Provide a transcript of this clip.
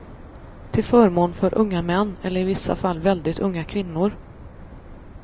Till förmån för unga män, eller i vissa fall väldigt unga kvinnor.